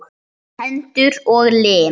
Hendur og lim.